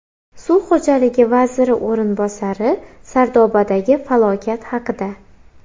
Suv xo‘jaligi vaziri o‘rinbosari Sardobadagi falokat haqida.